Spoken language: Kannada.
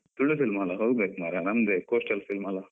ತುಳು film ಅಲ್ಲ ಹೋಗ್ಬೇಕು ಮಾರೆ, ನಮ್ದೆ coastal film ಅಲ್ಲ.